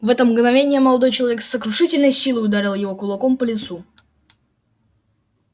в это мгновение молодой человек с сокрушительной силой ударил его кулаком по лицу